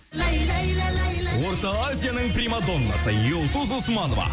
орта азияның примадоннасы юлдуз усманова